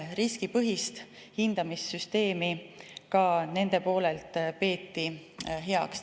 Riskipõhist hindamissüsteemi peeti ka nende poolelt heaks.